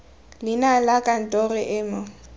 leina la kantoro e mo